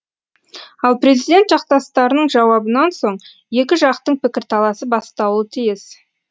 ал президент жақтастарының жауабынан соң екі жақтың пікірталасы басталуы тиіс